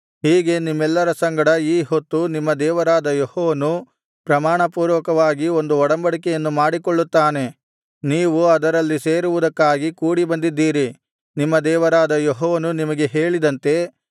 ಹೀಗೆ ನಿಮ್ಮೆಲ್ಲರ ಸಂಗಡ ಈ ಹೊತ್ತು ನಿಮ್ಮ ದೇವರಾದ ಯೆಹೋವನು ಪ್ರಮಾಣಪೂರ್ವಕವಾಗಿ ಒಂದು ಒಡಂಬಡಿಕೆಯನ್ನು ಮಾಡಿಕೊಳ್ಳುತ್ತಾನೆ ನೀವು ಅದರಲ್ಲಿ ಸೇರುವುದಕ್ಕಾಗಿ ಕೂಡಿಬಂದಿದ್ದೀರಿ ನಿಮ್ಮ ದೇವರಾದ ಯೆಹೋವನು ನಿಮಗೆ ಹೇಳಿದಂತೆ